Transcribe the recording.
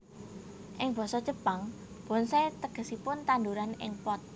Ing basa Jepang bonsai tegesipun tandhuran ing pot